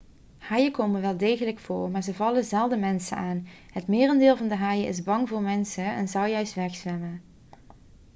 haaien komen wel degelijk voor maar ze vallen zelden mensen aan het merendeel van de haaien is bang voor mensen en zou juist wegzwemmen